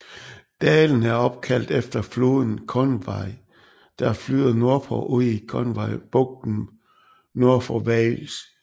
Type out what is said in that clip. Dalen er opkaldt efter floden Conwy der flyder nordpå ud i Conwy bugten nord for Wales